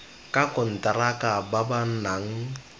ka konteraka ba ba nang